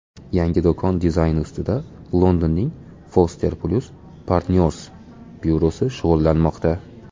Yangi do‘kon dizayni ustida Londonning Foster + Partners byurosi shug‘ullanmoqda.